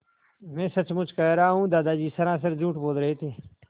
मैं सचमुच कह रहा हूँ दादा सरासर झूठ बोल रहे थे